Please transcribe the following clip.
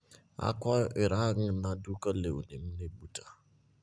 Akwayo irangna duka lewni mnibuta